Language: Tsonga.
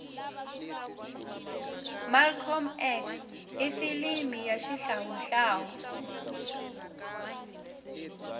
malcolm x ifilimu rashihlawuhlawu